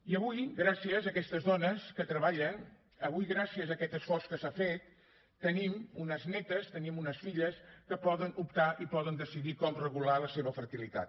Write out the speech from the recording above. i avui gràcies a aquestes dones que treballen avui gràcies a aquest esforç que s’ha fet tenim unes netes tenim unes filles que poden optar i poden decidir com regular la seva fertilitat